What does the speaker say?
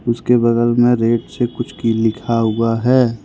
उसके बगल में रेड से कुछ लिखा हुआ है।